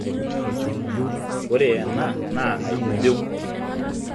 ore enaa naa aibibiu